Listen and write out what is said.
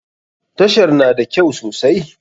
Tashar na da kyau sosai.